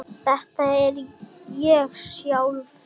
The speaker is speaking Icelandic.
Þetta er ég sjálf.